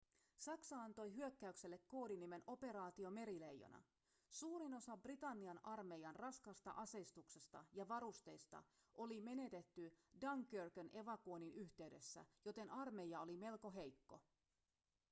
saksa antoi hyökkäykselle koodinimen operaatio merileijona suurin osa britannian armeijan raskaasta aseistuksesta ja varusteista oli menetetty dunkerquen evakuoinnin yhteydessä joten armeija oli melko heikko